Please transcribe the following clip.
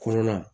Kolon na